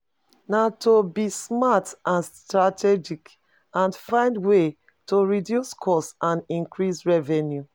Na to be smart and strategic, and find ways to reduce costs and increase revenue.